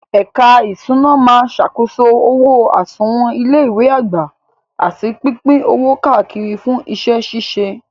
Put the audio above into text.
Ẹ̀ka ìṣúná máa ṣàkóso owó àsùnwọ̀n ilé ìwé àgbà àti pípín owó káàkiri fún iṣẹ́ ṣíṣe.